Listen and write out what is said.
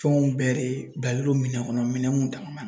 Fɛnw bɛɛ de bilalen don minɛn kɔnɔ minɛnw dama